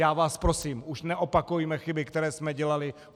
Já vás prosím, už neopakujme chyby, které jsme dělali.